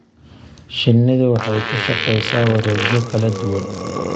Shinnidu waxay ku shaqeysaa wareegyo kala duwan.